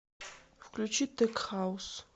включи тек хаус